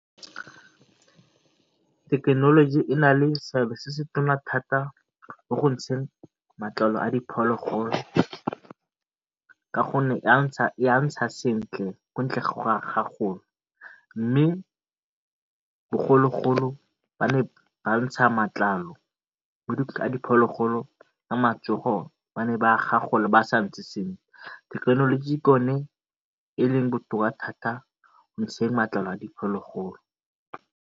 Thekenoloji e na le seabe se se thata mo go ntsheng matlalo a diphologolo ka gonne e a ntsha sentle mme bogologolo ba ne ba ntsha matlalo diphologolo thekenoloji ke yone e leng botoka thata mo go ntsheng matlalo a diphologolo.